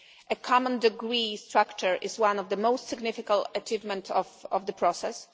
A common degree structure is one of the most significant achievement of the process.